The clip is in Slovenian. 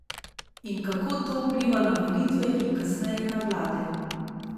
In kako to vpliva na volitve in kasneje na vlade?